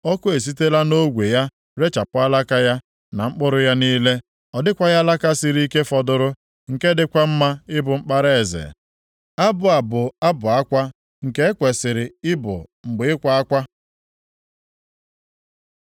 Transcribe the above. Ọkụ esitela nʼogwe ya rechapụ alaka ya na mkpụrụ ya niile. Ọ dịkwaghị alaka siri ike fọdụrụ nke dịkwa mma ịbụ mkpara eze.’ Abụ a bụ abụ akwa, nke e kwesiri ịbụ mgbe ịkwa akwa.”